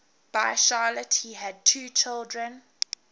by charlotte he had two children